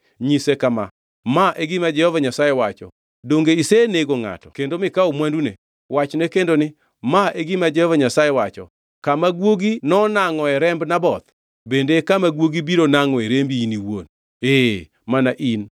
Nyise kama, ‘Ma e gima Jehova Nyasaye wacho, Donge isenego ngʼato kendo mikawo mwandune?’ Wachne kendo ni, ‘Ma e gima Jehova Nyasaye wacho, Kama guogi nonangʼoe remb Naboth, bende e kama guogi biro nangʼoe rembi in iwuon, ee, mana in!’ ”